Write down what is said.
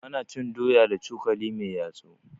Ana cin doya da cokali mai yatsu.